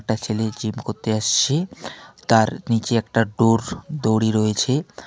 একটা ছেলে জিম করতে আসছে তার নীচে একটা ডোর দড়ি রয়েছে।